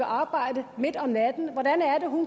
arbejde midt om natten